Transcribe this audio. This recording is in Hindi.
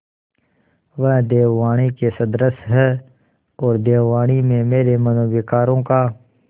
वह देववाणी के सदृश हैऔर देववाणी में मेरे मनोविकारों का